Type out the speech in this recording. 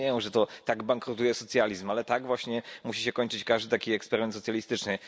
Nie rozumieją, że tak bankrutuje socjalizm, ale tak właśnie musi się kończyć każdy taki eksperyment socjalistyczny.